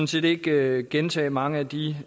set ikke gentage mange af de